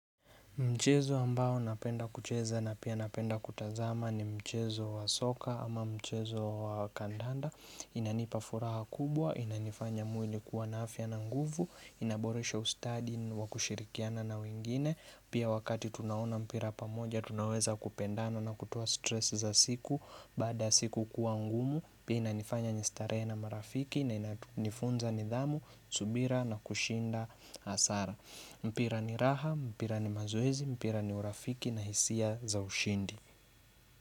Mchezo ambao napenda kucheza na pia napenda kutazama ni mchezo wa soka ama mchezo wa kandanda. Inanipa furaha kubwa, inanifanya mwili kuwa na afya na nguvu, inaboresha ustadi wa kushirikiana na wengine. Pia wakati tunaona mpira pamoja, tunaweza kupendana na kutoa stress za siku. Baada siku kuwa ngumu, pia inanifanya ni starehe na marafiki na inafunza nidhamu, subira na kushinda hasara. Mpira ni raha, mpira ni mazoezi, mpira ni urafiki na hisia za ushindi.